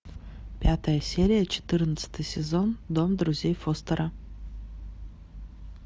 пятая серия четырнадцатый сезон дом друзей фостера